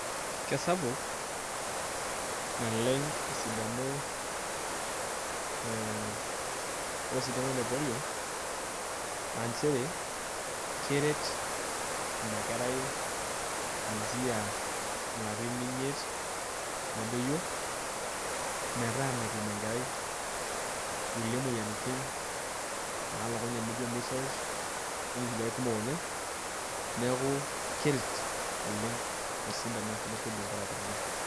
Kesapu naleng esidano osintano le polio aaa njere keret ina kerai kwanzia ilarin imiet nedoyio metaa metum enkerai kulie moyiariti naaijio misols onkulie kumok oleng neeku keret oleng osindano le polio inkera kutitik.